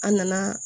An nana